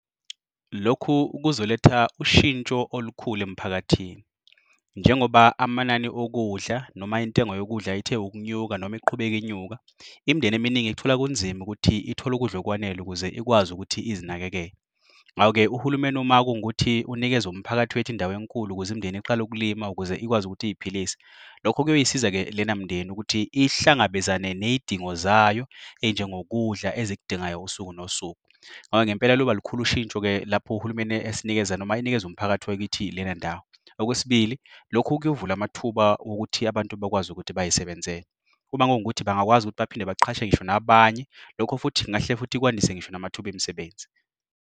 Lokhu kuzoletha ushintsho olukhulu emphakathini. Njengoba amanani okudla noma intengo yokudla ithe ukunyuka noma iqhubeke inyuka. Imindeni eminingi ithola kunzima ukuthi uthole ukudla okwanele ukuze ikwazi ukuthi izinakekele. Ngawe-ke uhulumeni uma kuwukuthi unikeze umphakathi wethu indawo enkulu ukuze umndeni iqale ukulima ukuze ikwazi ukuthi iyiphilise. Lokho kuyosiza-ke lena mndeni ukuthi ihlangabezane ney'dingo zayo, enjengokudla ezikudingayo usuku nosuku. Ngoba ngempela liyoba lukhulu ushintsho-ke lapho uhulumeni esinikeza noma enikeza umphakathi wakithi lena ndawo. Okwesibili, lokhu kuyovula amathuba okuthi abantu bakwazi ukuthi bayisebenzele. Kuba ngokuthi bangakwazi ukuthi baphinde baqashe ngisho nabanye, lokho futhi kahle futhi kwandiswe ngisho namathuba emsebenzi.